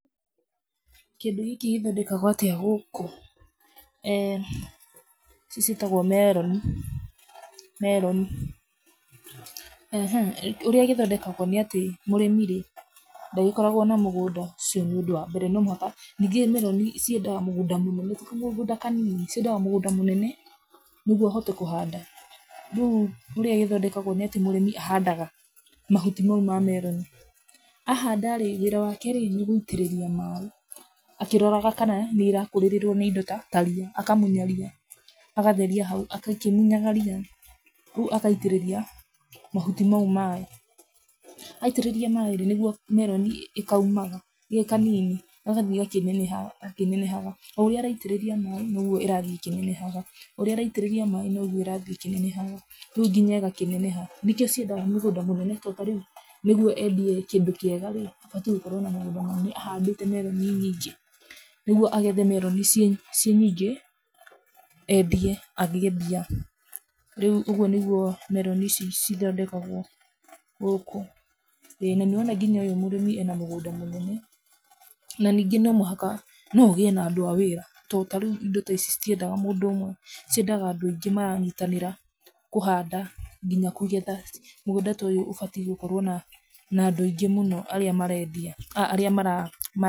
Kĩndũ gĩkĩ gĩthondekagwo atĩa gũkũ? [Eeh], ici ciĩtagũo meroni meroni ehe, ũrĩa gũthondekagwo ni atĩ mũrĩmĩ rĩ, ndagĩkoragũo na mũgũnda, ũcio nĩ ũndũ wa mbere no mũhaka, nyingĩ meroni ciendaga mũgũnda mũnene ti mũgũnda kanini ciendaga mũgũnda mũnene nĩgwo ũhote kũhanda. Rĩu ũria ĩthondekagwo nĩ atĩ mũrĩmi ahandaga mahuti mau ma meroni, ahanda rĩ, wĩra wake rĩ, nĩ gũitĩrĩria maĩ, akĩroraga kana nĩ ĩrakũrĩrĩrwo nĩ indo ta ria, akamunya ria, agatheria hau, akĩmunyaga ria rĩu agaitĩrĩria mahuti mau maĩ. Aitĩrĩria maĩ rĩ, nĩgwo meroni kaumaga karĩ kanini gagathiĩ gakĩnenehaga o ũria araitĩrĩria maĩ nogwo ĩrathi ĩkĩnenehaga ũria ĩraitĩrĩrio maĩ nĩgwo ĩrathi ĩkĩnenehaga rĩu nginya ĩgakĩneneha. Nĩkio ciendaga mũgũnda mũnene nĩgwo endie kĩndũ kĩega abataire gũkorũo na mũgũnda mũnene ahandĩte meroni nyingĩ nĩgwo agethe meroni ciĩ nyingĩ endie agĩe mbia rĩu ũguo nĩgwo meroni cithondekagwo gũkũna nĩ ũrona nginya mũrĩmi ũyu ena mũgũnda mũnene na nyingĩ no mũhaka, no ũgĩe na andu a wĩra to ta rĩu indo ta ici citiendaga mũndũ ũmwe ciendaga andũ aingĩ maranyitanĩra kũhanda nginya kũgetha, mũgũnda ta ũyũ ũbataire gũkorwo na andũ aingĩ mũno arĩa marendia.